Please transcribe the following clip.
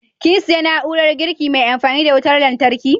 Kin siya na'urar girki mai amfani da wutar lantarki?